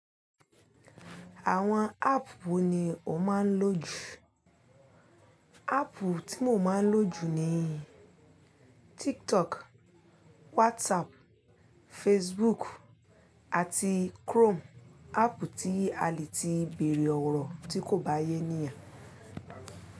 Àwọn app wo ni o máa ń lò jù? App tí mo máa ń lò jù ni TikTok, WhatsApp, Facebook àti Chrome. App tí a le ti bèèrè ọ̀rọ̀ tí kò bá yé níyàn.